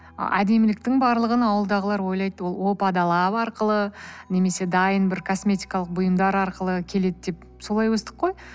әдеміліктің барлығын ауылдағылар ойлайды ол опа далап арқылы немесе дайын бір косметикалық бұйымдар арқылы келеді деп солай өстік қой